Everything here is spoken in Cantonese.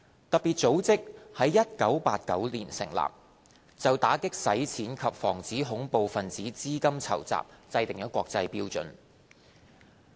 特別組織在1989年成立，就打擊洗錢及防止恐怖分子資金籌集制訂國際標準。